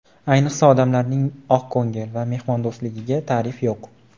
Ayniqsa odamlarning oqko‘ngil va mehmondo‘stligiga ta’rif yo‘q.